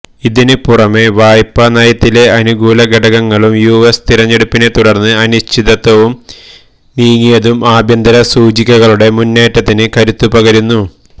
ഇതിന് പുറമെവായ്പ നയത്തിലെ അനുകൂലഘടകങ്ങളും യുഎസ് തിരഞ്ഞെടുപ്പിനെതുടർന്ന് അനിശ്ചിതത്വം നിങ്ങിയതും ആഭ്യന്തര സൂചികകളുടെ മുന്നേറ്റത്തിന് കരുത്തുപകർന്നു